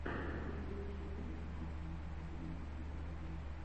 на ютьюбе пранк гейм коуб